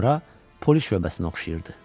Bura polis şöbəsinə oxşayırdı.